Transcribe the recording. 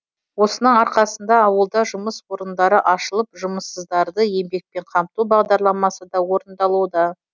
осының арқасында ауылда жұмыс орындары ашылып жұмыссыздарды еңбекпен қамту бағдарламасы да орындалуда